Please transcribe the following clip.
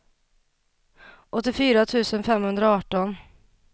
åttiofyra tusen femhundraarton